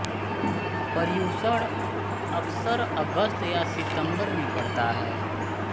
पर्युषण अक्सर अगस्त या सितंबर में पड़ता है